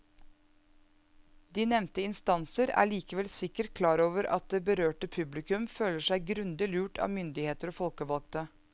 De nevnte instanser er likevel sikkert klar over at det berørte publikum føler seg grundig lurt av myndigheter og folkevalgte.